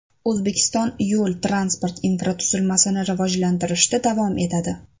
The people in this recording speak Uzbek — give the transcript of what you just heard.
O‘zbekiston yo‘l-transport infratuzilmasini rivojlantirishda davom etadi.